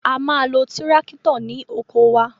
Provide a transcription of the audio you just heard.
A ma lo tíráktọ̀ ní oko wa.